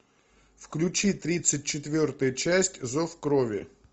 включи тридцать четвертая часть зов крови